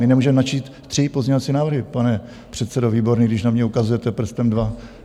My nemůžeme načíst tři pozměňovací návrhy, pane předsedo Výborný, když na mě ukazujete prstem, dva.